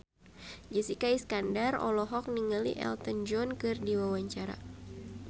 Jessica Iskandar olohok ningali Elton John keur diwawancara